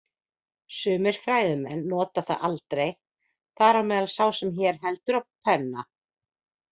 Sumir fræðimenn nota það aldrei, þar á meðal sá sem hér heldur á penna.